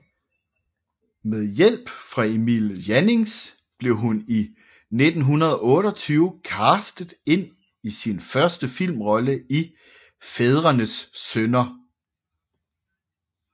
Med hjælp fra Emil Jannings blev hun i 1928 castet ind i sin første filmrolle i Fædrenes Synder